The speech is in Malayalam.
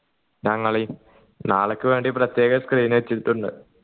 ഞങ്ങളെയും നാളേക്ക് വേണ്ടി പ്രത്യേകം screen വച്ചിട്ടുണ്ട്